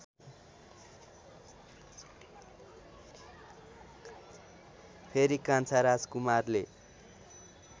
फेरि कान्छा राजकुमारले